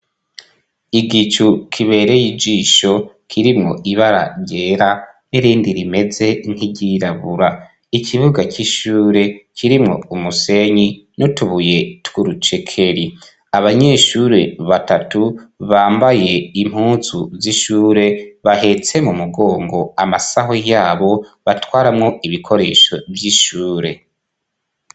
Igicu kibereye ijisho kirimwo ibara ryera n'irindi rimeze ntiryirabura ikibuga c'ishure kirimwo umusenyi nutubuye twurucekeli abanyeshure batatu bambaye impuzu z'ishure bahetse mu mugongo amasaho yabo batwaramwo ibikoresho vy'ishure.